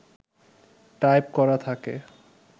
type করা থাকে